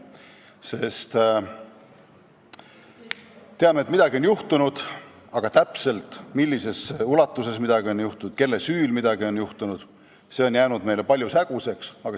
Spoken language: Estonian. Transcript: Me teame, et midagi on juhtunud, aga täpselt millises ulatuses midagi on juhtunud ja kelle süül midagi on juhtunud, see on jäänud meile paljuski häguseks.